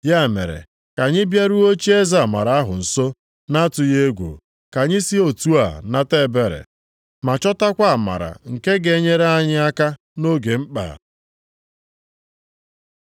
Ya mere, ka anyị bịaruo ocheeze amara ahụ nso na-atụghị egwu, ka anyị si otu a nata ebere, ma chọtakwa amara nke ga-enyere anyị aka nʼoge mkpa.